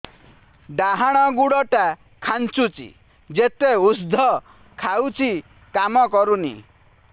ଡାହାଣ ଗୁଡ଼ ଟା ଖାନ୍ଚୁଚି ଯେତେ ଉଷ୍ଧ ଖାଉଛି କାମ କରୁନି